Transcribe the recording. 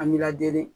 An b'i lajɛ